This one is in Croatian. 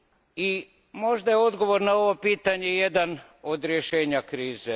I možda je odgovor na ovo pitanje jedno od rješenja krize.